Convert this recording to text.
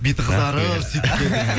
беті қызарып сөйтіп келдіңіз